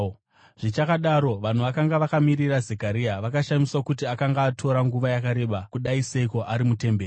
Zvichakadaro, vanhu vakanga vakamirira Zekaria vakashamiswa kuti akanga atora nguva yakareba kudai seiko ari mutemberi.